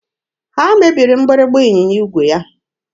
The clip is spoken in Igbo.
Ha mebiri mgbịrịgba ịnyịnya igwe ya.